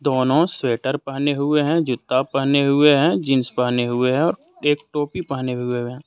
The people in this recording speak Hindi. दोनों स्वेटर पहने हुए हैं जूता पहने हुए हैं जींस पहने हुए हैं और एक टोपी पहने हुए हैं।